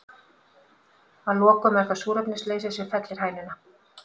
Að lokum er það súrefnisleysi sem fellir hænuna.